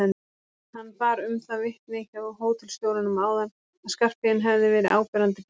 Hann bar um það vitni hjá hótelstjóranum áðan að Skarphéðinn hefði verið áberandi hífaður.